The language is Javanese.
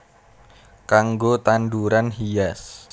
Kanggo tanduran hias